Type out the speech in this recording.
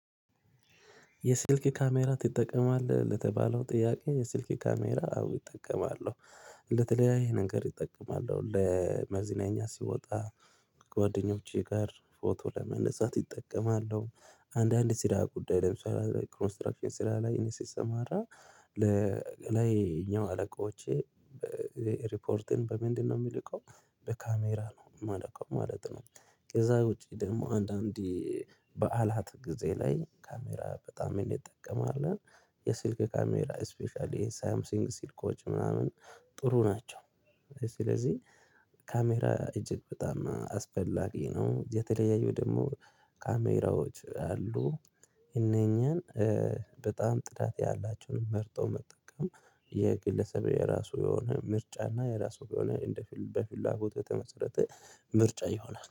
የስልክ ካሜራ ትጠቀማለህ? ለተባለው ጥያቄ የስልክ ካሜራ አዎ እጠቀማለሁ። ለተለያዩ ነገር እጠቀማለሁ ለመዝናኛ ሲወጣ ከጓደኞቼ ጋር ፎቶ ለመነሳት ይጠቀማለሁ። አንዳንድ ስራ ጉዳይ ለምሳሌ ኮንስትራክሽን ስራ ላይ እኔ ሲሰማራ ለላይኛው አለቆቼ ሪፖርትን በምንድነው የሚልከው በካሜራ ነው የመልከው ማለት ነው። ከዛ ውጪ ደግሞ አንዳንዴ በዓላት ጊዜ ላይ ካሜራ በጣም እንጠቀማለን። የስልክ ካሜራ ስፔሻሊ የሳምሰንግ ስልኮች ምናምን ጥሩ ናቸው። ስለዚህ ካሜራ እጅግ በጣም አስፈላጊ ነው። የተለያዩ ደግሞ ካሜራዎች አሉ። እነኚህን በጣም ጥዳት ያላቸውን መርጦ መጠቀም የግለሰብ የራሱ የሆነ ምርጫና የራሱ የሆነ እንደፊል በፊላጎት የተመሰረተ ምርጫ ይሆናል